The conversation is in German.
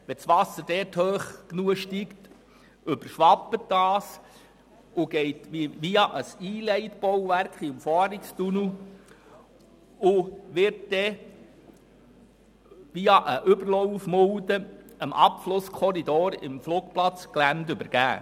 Steigt dort das Wasser hoch genug, überschwappt es und wird via ein Einleitbauwerk in den Umfahrungstunnel und anschliessend mittels einer Überlaufmulde dem Abflusskorridor auf dem Flugplatzgelände zugeführt.